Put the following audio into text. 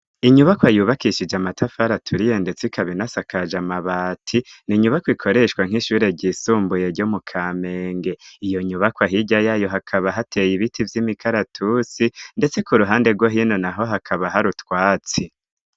Inyubakwa yubakishije amatafara aturiye ndetse ikaba inasakaje amabati ni nyubako ikoreshwa nk'ishuri ry'isumbuye ryo mu kamenge iyo nyubaka hijya yayo hakaba hateye ibiti by'imikaratusi ndetse ku ruhande rwo hino naho hakaba hari utwatsi.